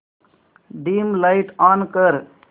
dim light on कर